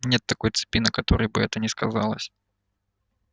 нет такой цепи на которой бы это не сказалось